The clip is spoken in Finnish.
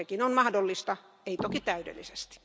Sekin on mahdollista, ei toki täydellisesti.